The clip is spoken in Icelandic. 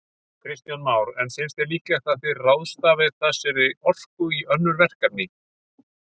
Kristján Már: En finnst þér líklegt að þið ráðstafað þessari orku í önnur verkefni?